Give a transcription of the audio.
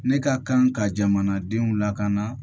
Ne ka kan ka jamanadenw lakana